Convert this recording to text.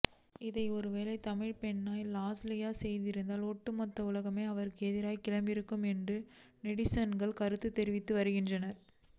இதை ஒருவேளை தமிழ்பெண்ணான லாஸ்லியா செய்திருந்தால் ஒட்டுமொத்த உலகமே அவருக்கு எதிராக கிளம்பியிருக்கும் என்றும் நெட்டிசன்கள் கருத்து தெரிவித்து வருகின்றனர்